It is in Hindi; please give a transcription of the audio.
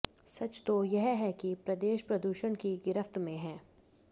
सच तो यह है कि प्रदेश प्रदूषण की गिरफ्त में है